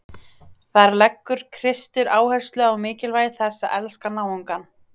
Þar leggur Kristur áherslu á mikilvægi þess að elska náungann.